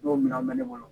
Don minan bɛ ne kɔnɔ